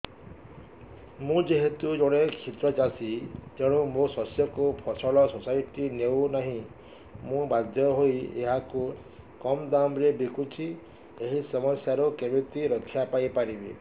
ମୁଁ ଯେହେତୁ ଜଣେ କ୍ଷୁଦ୍ର ଚାଷୀ ତେଣୁ ମୋ ଶସ୍ୟକୁ ଫସଲ ସୋସାଇଟି ନେଉ ନାହିଁ ମୁ ବାଧ୍ୟ ହୋଇ ଏହାକୁ କମ୍ ଦାମ୍ ରେ ବିକୁଛି ଏହି ସମସ୍ୟାରୁ କେମିତି ରକ୍ଷାପାଇ ପାରିବି